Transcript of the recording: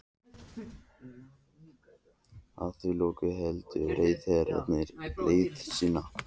Að því loknu héldu ráðherrarnir leiðar sinnar.